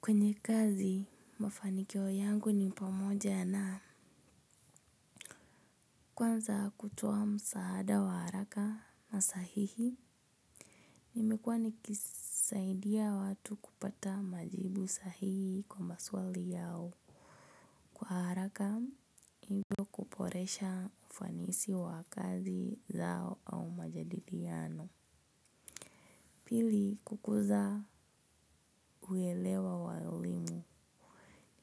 Kwenye kazi, mafanikio yangu ni pamoja na kwanza kutoa msaada wa haraka na sahihi. Imekuwa nikisaidia watu kupata majibu sahihi kwa maswali yao. Kwa haraka, hivyo kuboresha ufanisi wa kazi zao au majadiliano. Pili, kukuza uelewa walimu.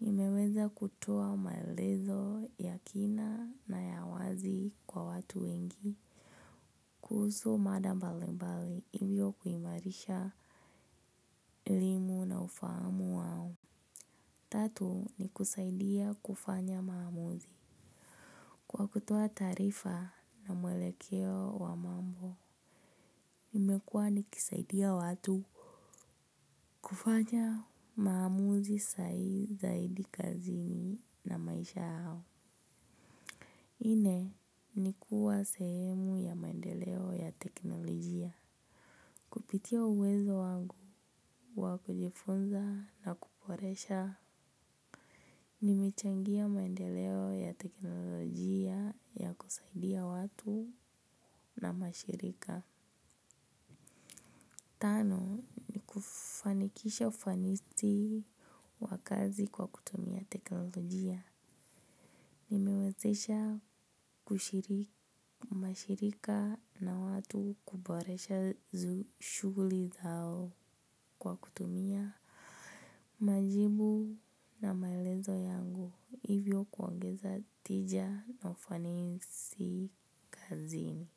Nimeweza kutoa maelezo ya kina na ya wazi kwa watu wengi. Kuhusu mada mbalimbali ilio kuimarisha elimu na ufahamu wao. Tatu ni kusaidia kufanya maamuzi. Kwa kutuoaa tarifa na mwelekeo wa mambo, nimekua nikisaidia watu kufanya maamuzi sahihi zaidi kazini na maisha yao. Nne ni kuwa sehemu ya maendeleo ya teknolojia. Kupitia uwezo wangu wa kujifunza na kuboresha. Nimechangia maendeleo ya teknolojia ya kusaidia watu na mashirika. Tano, ni kufanikisha ufanisi wa kazi kwa kutumia teknolojia. Nimewezesha mashirika na watu kuboresha shughuli zao kwa kutumia majibu na maelezo yangu hivyo kuongeza tija na ufanisi kazini.